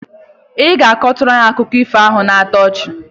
I ga akọnwụ akụkọ ifo nke na-atọ ọchị?